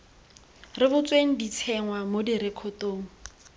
rebotsweng di tsenngwa mo direkotong